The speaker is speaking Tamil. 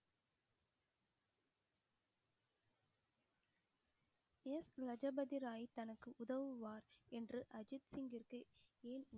லஜபதி ராய் தனக்கு உதவுவார் என்று அஜித் சிங்கிற்கு